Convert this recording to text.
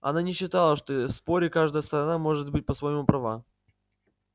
она не считала что в споре каждая сторона может быть по-своему права